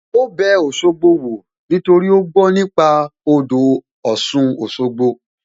Ó bẹ Òṣogbo wò nítorí ó gbó nípa nípa odò Ọ̀sun Òṣogbo